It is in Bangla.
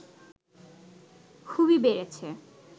খুবই বেড়েছে